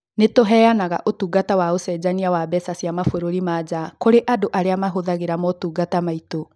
Nĩ tũheanaga ũtungata wa ũcenjania wa mbeca cia mabũrũri ma nja kũrĩ andũ arĩa mahũthagĩra motungata maitũ.